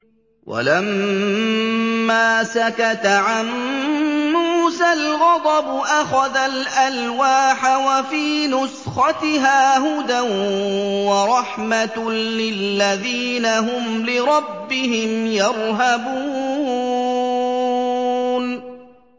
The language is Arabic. وَلَمَّا سَكَتَ عَن مُّوسَى الْغَضَبُ أَخَذَ الْأَلْوَاحَ ۖ وَفِي نُسْخَتِهَا هُدًى وَرَحْمَةٌ لِّلَّذِينَ هُمْ لِرَبِّهِمْ يَرْهَبُونَ